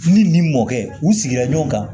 Ni nin mɔkɛ u sigira ɲɔgɔn kan